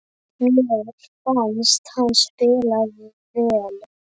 Mér fannst hann spila vel.